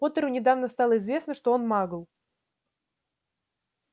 поттеру недавно стало известно что он магл